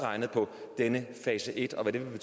ytret min